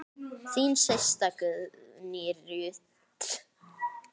Þín systa, Guðný Ruth.